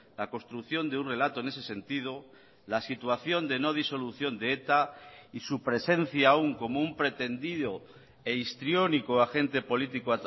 la construcción de un relato en ese sentido la situación de no disolución de eta y su presencia aún como un pretendido e histriónico agente político